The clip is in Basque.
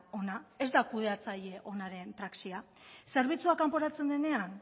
ona ez da kudeatzaile onaren praxia zerbitzua kanporatzen denean